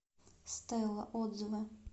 стела отзывы